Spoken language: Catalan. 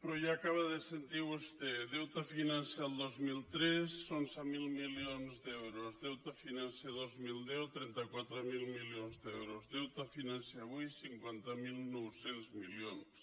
però ja ho acaba de sentir vostè deute financer el dos mil tres onze mil milions d’euros deute financer dos mil deu trenta quatre mil milions d’euros deute financer avui cinquanta mil nou cents milions